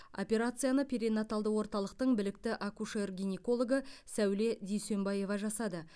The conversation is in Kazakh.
операцияны перинаталды орталықтың білікті акушер гинекологы сауле дүйсенбаева жасады